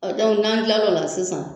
N'an kila l'o la sisan